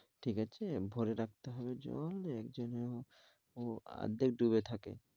ঠিক আছে? ভরে রাখতে হবে জল এক জনেও অর্ধেক ডুবে থাকে।